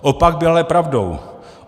Opak byl ale pravdou.